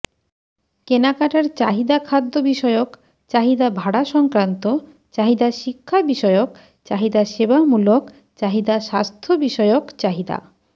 কেনাকাটার চাহিদাখাদ্য বিষয়ক চাহিদাভাড়া সংক্রান্ত চাহিদাশিক্ষা বিষয়ক চাহিদাসেবামূলক চাহিদাস্বাস্থ্য বিষয়ক চাহিদা